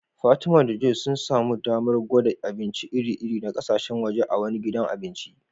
Fatima da Joy sun samu damar gwada abinci iri-iri na kasashen waje a wani gidan abinci